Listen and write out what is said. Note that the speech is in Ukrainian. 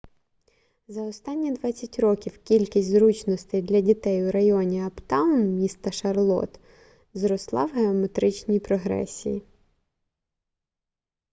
за останні 20 років кількість зручностей для дітей у районі аптаун міста шарлотт зросла в геометричній прогресії